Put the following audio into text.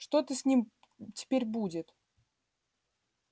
что-то с ним теперь будет